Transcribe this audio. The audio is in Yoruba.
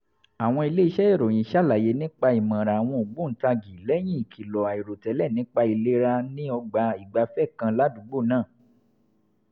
àwọn iléeṣẹ́ ìròyìn ṣàlàyé nípa ìmọ̀ràn àwọn ògbóǹtagì lẹ́yìn ìkìlọ̀ àìròtẹ́lẹ̀ nípa ìlera ní ọgbà ìgbafẹ́ kan ládùúgbò náà